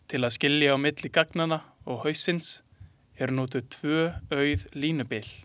Til að skilja á milli gagnanna og haussins eru notuð tvö auð línubil.